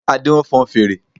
Adé nfon fèrè